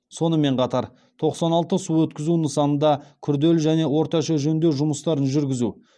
сонымен қатар тоқсан алты су өткізу нысанында күрделі және орташа жөндеу жұмыстарын жүргізу